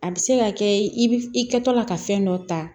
A bɛ se ka kɛ i bɛ i kɛtɔ la ka fɛn dɔ ta